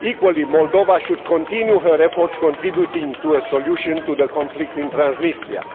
Equally, Moldova should continue her efforts contributing to a solution to the conflict in Transnistria.